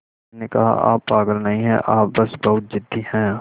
मैंने कहा आप पागल नहीं हैं आप बस बहुत ज़िद्दी हैं